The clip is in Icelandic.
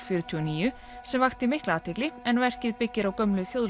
fjörutíu og níu sem vakti mikla athygli en verkið byggir á gömlu